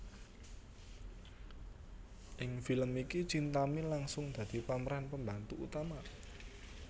Ing film iki Chintami langsung dadi pemeran pembantu utama